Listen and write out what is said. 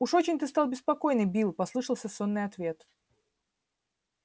уж очень ты стал беспокойный билл послышался сонный ответ